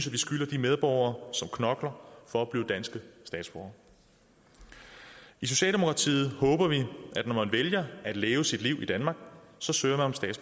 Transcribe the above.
vi skylder de medborgere som knokler for at blive danske statsborgere i socialdemokratiet håber vi at når man vælger at leve sit liv i danmark så søger